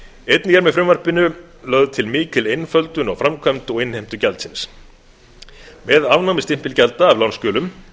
einnig er með frumvarpinu lög til mikil einföldun á framkvæmd og innheimtu gjaldsins með afnámi stimpilgjalda af lánsskjölum